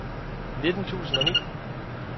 nitten tusind og ni